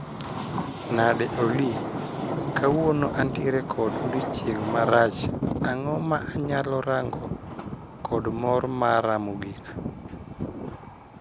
Nade Olly? Kawuono antiere kod odiechieng' marach, ang'o ma anyalo rango kod mor mara mogik